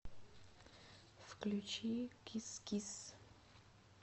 включи кис кис